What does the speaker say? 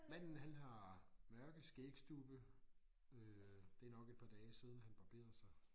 Manden han har mørke skægstubbe øh det nok et par dage siden han barberede sig